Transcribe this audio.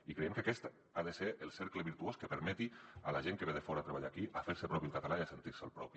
i creiem que aquest ha de ser el cercle virtuós que permeti a la gent que ve de fora a treballar aquí fer se propi el català i sentir se’l propi